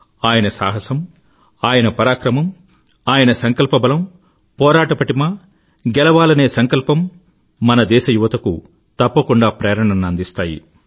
ఆయన సాహసం ఆయన పరాక్రమం ఆయన సంకల్పబలం పోరాట పటిమ గెలవాలనే సంకల్పం మన దేశ యువతకు తప్పకుండా ప్రేరణను అందిస్తాయి